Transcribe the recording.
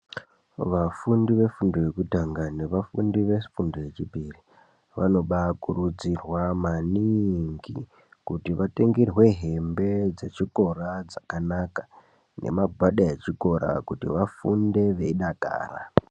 Vafundi vefundo yekutanga nevafundi vefundo yechipiri vanobakurudzirwa maningi. Kuti vatengerwe hembe dzechikora dzakanaka nemagwada echikora kuti vafunde veidakara.